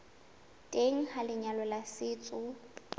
teng ha lenyalo la setso